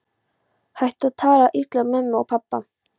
Hættu að tala illa um mömmu og pabba!